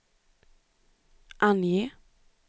ange